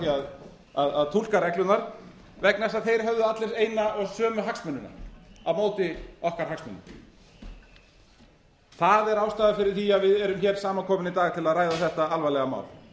að því að túlka reglurnar vegna þess að þeir höfðu allir eina og sömu hagsmunina á móti okkar hagsmunum það er ástæðan fyrir því að við erum hér saman komin í dag til að ræða þetta alvarlega mál